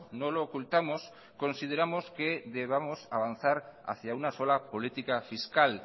no lo ocultamos consideramos que debamos avanzar hacia una sola política fiscal